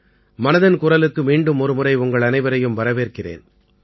மனதின் குரலுக்கு மீண்டும் ஒருமுறை உங்கள் அனைவரையும் வரவேற்கிறேன்